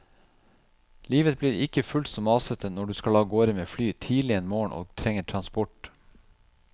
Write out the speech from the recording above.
Livet blir ikke fullt så masete når du skal av gårde med fly tidlig en morgen og trenger transport.